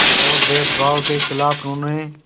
और भेदभाव के ख़िलाफ़ उन्होंने